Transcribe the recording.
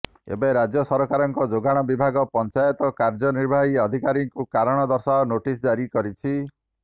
ଏବେ ରାଜ୍ୟ ସରକାରଙ୍କ ଯୋଗାଣ ବିଭାଗ ପଞ୍ଚାୟତ କାର୍ଯ୍ୟନିର୍ବାହୀ ଅଧିକାରୀଙ୍କୁ କାରଣ ଦର୍ଶାଅ ନୋଟିସ ଜାରି କରିଛି